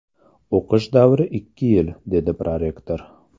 O‘qish davri ikki yil”, dedi prorektor.